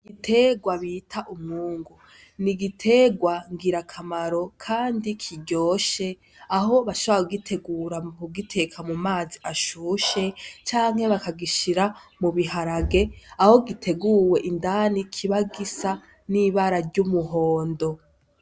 Igiterwa bita umwungu, ni igiterwa ngirakamaro kandi kiryoshe aho bashobora kugitegura mu kugiteka mu mazi ashushe canke bakagishira mu biharage, aho giteguwe indani kiba gisa n'ibara ry'umuhondo.